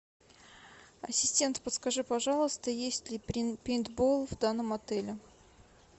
ассистент подскажи пожалуйста есть ли пейнтбол в данном отеле